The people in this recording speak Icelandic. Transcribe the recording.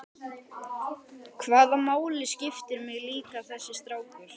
Hvaða máli skiptir mig líka þessi strákur?